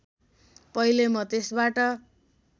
पहिले म त्यसबाट